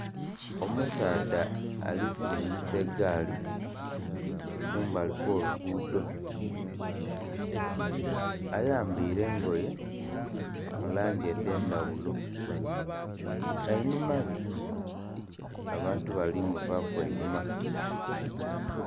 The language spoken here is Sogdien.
Omusaadha ali silingisa egaali kumbali kw'oluguudo. Ayambaile engoye mu langi edh'endhaghulo. Einhuma ghe, abantu bali muvaaku einhuma.